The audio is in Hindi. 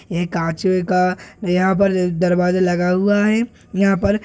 ये काँचवे का यहाँ पर द-दरवाजा लगाया हुआ है यहाँ पर --